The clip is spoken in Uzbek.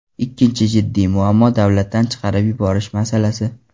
Ikkinchi jiddiy muammo davlatdan chiqarib yuborish masalasi.